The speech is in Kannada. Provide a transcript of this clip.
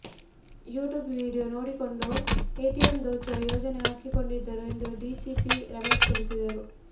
ಯೂಟ್ಯೂಬ್ ವಿಡಿಯೋ ನೋಡಿಕೊಂಡು ಎಟಿಎಂ ದೋಚುವ ಯೋಜನೆ ಹಾಕಿಕೊಂಡಿದ್ದರು ಎಂದು ಡಿಸಿಪಿ ರಮೇಶ್ ತಿಳಿಸಿದರು